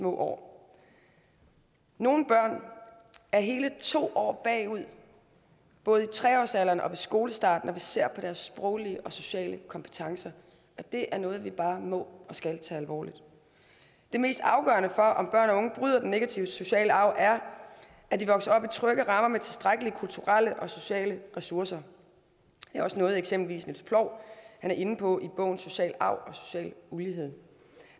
år nogle børn er hele to år bagud både i tre årsalderen og ved skolestart når vi ser på deres sproglige og sociale kompetencer og det er noget vi bare må og skal tage alvorligt det mest afgørende for om børn og unge bryder den negative sociale arv er at de vokser op i trygge rammer med tilstrækkelige kulturelle og sociale ressourcer det er også noget eksempelvis niels ploug er inde på i bogen social arv og social ulighed